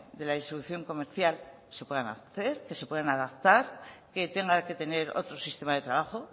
de la distribución comercial se puedan hacer que se puedan adaptar que tenga que tener otro sistema de trabajo